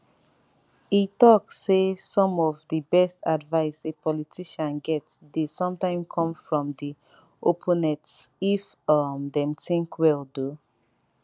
e tok saysome of di best advise a politician get dey sometime come from di opponents if um dem think well though